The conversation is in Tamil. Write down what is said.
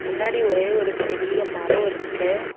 முன்னாடி ஒரே ஒரு பெரிய மரோ இருக்கு.